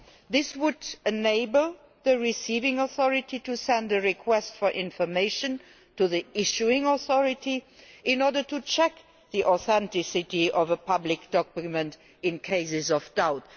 This would enable the receiving authority to send a request for information to the issuing authority in order to check the authenticity of a public document in cases of doubt.